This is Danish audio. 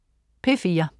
P4: